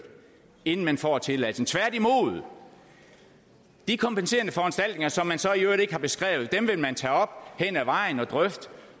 inden man får tilladelsen tværtimod de kompenserende foranstaltninger som man så i øvrigt ikke har beskrevet vil man tage op hen ad vejen og drøfte